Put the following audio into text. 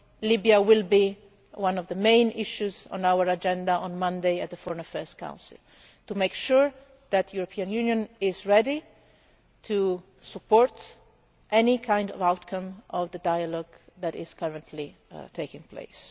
ago. Libya will be one of the main issues on our agenda on Monday at the Foreign Affairs Council, to make sure that the European Union is ready to support any kind of outcome of the dialogue that is currently taking